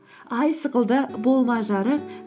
ай сықылды болма жарық